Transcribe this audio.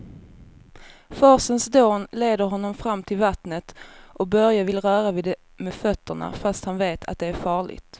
Forsens dån leder honom fram till vattnet och Börje vill röra vid det med fötterna, fast han vet att det är farligt.